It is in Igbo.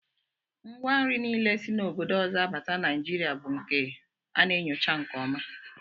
Ngwa nri niile si obodo ọzọ abata Naijiria bụ nke a na-enyocha nke ọma